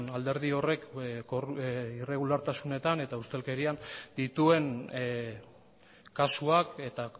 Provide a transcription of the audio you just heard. alderdi horrek irregulartasunetan eta ustelkerian dituen kasuak eta